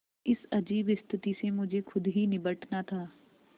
इस अजीब स्थिति से मुझे खुद ही निबटना था